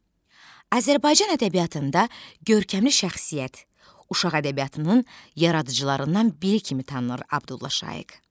Azərbaycan ədəbiyyatında görkəmli şəxsiyyət, uşaq ədəbiyyatının yaradıcılarından biri kimi tanınır Abdullah Şaiq.